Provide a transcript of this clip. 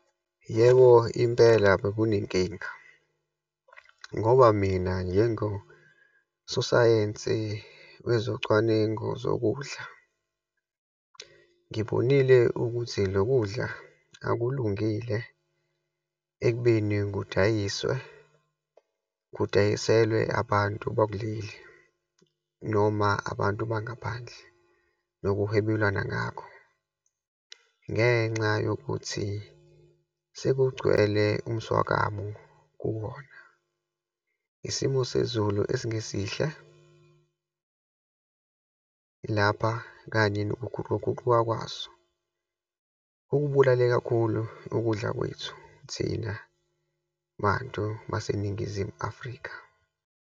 Yebo, impela bekunenkinga ngoba mina njengososayensi wezocwaningo zokudla. Ngibonile ukuthi lokudla akulungile ekubeni kudayiswe, kudayiselwe abantu bakuleli noma abantu bangaphandle nokuhwebelana ngakho, ngenxa yokuthi sekugcwele umswakamo kuwona. Isimo sezulu esingesihle lapha, kanye nokuguquguquka kwaso kukubulale kakhulu ukudla kwethu thina bantu baseNingizimu Afrika.